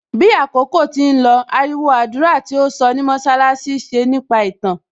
Bí àkókò tí ń lọ, ariwo àdúrà tí ó sọ ní mọṣálásí ṣe nípa ìtàn